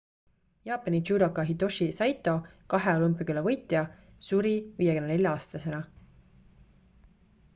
jaapani judoka hitoshi saito kahe olümpiakulla võitja suri 54 aastasena